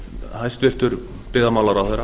hæstvirtur fyrrum byggðamálaráðherra